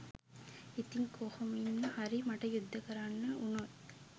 ඉතිං කොහොමින් හරි මට යුද්ධ කරන්න වුනොත්